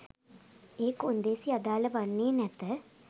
ඒ කොන්දේසි අදාල වන්නේ නැත